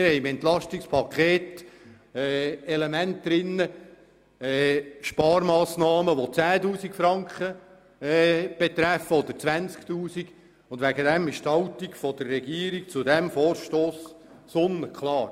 Wir haben Sparmassnahmen vorgesehen, die 10 000 oder 20 000 Franken betragen, und deswegen ist die Haltung der Regierung zu diesem Vorstoss sonnenklar.